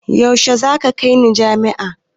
Yaushe za ka kai ni majami'a?